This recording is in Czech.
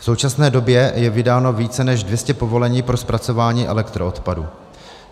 V současné době je vydáno více než 200 povolení pro zpracování elektroodpadu.